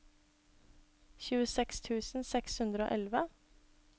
tjueseks tusen seks hundre og elleve